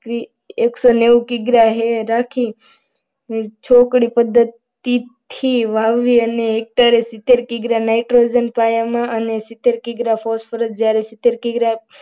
એકસો નેવું કિગ્રા રાખી છોકરી પદ્ધતિ થી વાવી અને હેક્ટર એ સિત્તેર કિગ્રા નાઇટ્રોજન પાયામાં ને અને સિત્તેર કિગ્રા phosphorus જ્યારે સિત્તેર કિગ્રા